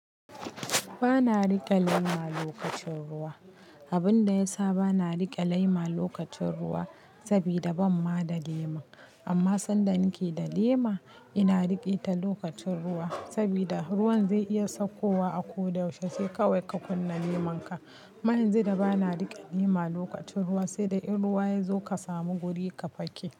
Ba na riƙe lema lokacin ruwa. Abun da ya sa ba na riƙe lema lokacin ruwa sabida ban ma da lema. Amma sanda nike da lema, ina riƙe ta lokacin ruwa sabida ruwan zai iya saukowa a ko da yaushe, sai kawai ka kunna lemanka. Ma yanzu da ba na riƙe lema lokacin ruwa sai dai in ruwa ya zo ka samu wuri ka fake.